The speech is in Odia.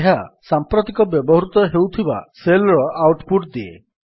ଏହା ସାମ୍ପ୍ରତିକ ବ୍ୟବହୃତ ହେଉଥିବା ସେଲ୍ ର ଆଉଟ୍ ପୁଟ୍ ଦିଏ